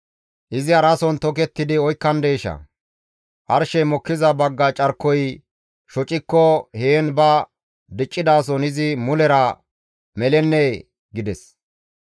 Izi harason tokettidi oykkandeeshaa? Arshey mokkiza bagga carkoy shocikko heen ba diccidason izi mulera melennee?› » gides.